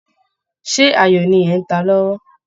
Ṣé ayo ni ẹ̀ ń ta lọ́wọ́?